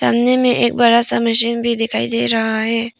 सामने में एक बड़ा सा मशीन भी दिखाई दे रहा है।